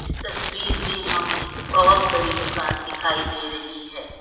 इस तस्वीर में हमें बहोत बड़ी दुकान दिखाई दे रही है।